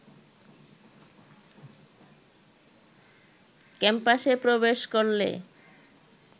ক্যাম্পাসে প্রবেশ করলে